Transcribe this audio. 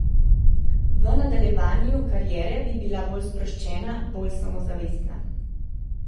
V nadaljevanju kariere bi bila bolj sproščena, bolj samozavestna.